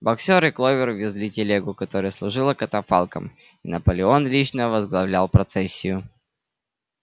боксёр и кловер везли телегу которая служила катафалком и наполеон лично возглавлял процессию